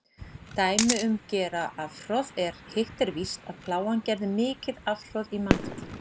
Dæmi um gera afhroð er: Hitt er víst, að Plágan gerði mikið afhroð í mannfalli.